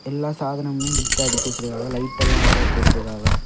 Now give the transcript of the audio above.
எல்லா சாதனமுமே நீட்டா அடுக்கி வச்சிருக்காவ லைட்லா அழகா போட்டுருக்காவ.